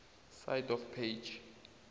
side of page